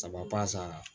Saba pasa